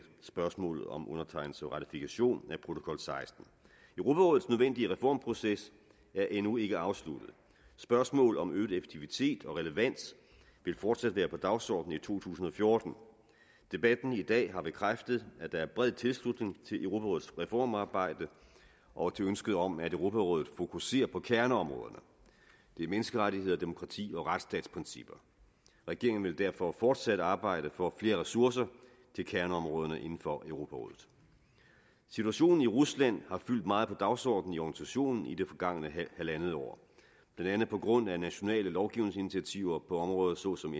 spørgsmålet om undertegnelse og ratifikation af protokol sekstende europarådets nødvendige reformproces er endnu ikke afsluttet spørgsmål om øget effektivitet og relevans vil fortsat være på dagsordenen i to tusind og fjorten debatten i dag har bekræftet at der er bred tilslutning til europarådets reformarbejde og til ønsket om at europarådet fokusere på kerneområderne det er menneskerettigheder demokrati og retsstatsprincipper regeringen vil derfor fortsat arbejde for flere ressourcer til kerneområderne inden for europarådet situationen i rusland har fyldt meget på dagsordenen i organisationen i det forgangne halvandet år blandt andet på grund af nationale lovgivningsinitiativer på områder såsom